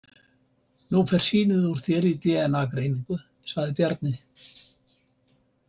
Nú fer sýnið úr þér í dna- greiningu, sagði Bjarni.